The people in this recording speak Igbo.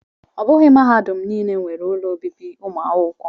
Ọ bụghị mahadum niile nwere ụlọ obibi ụmụ akwụkwọ